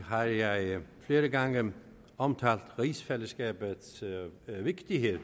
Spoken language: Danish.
har jeg flere gange omtalt rigsfællesskabets vigtighed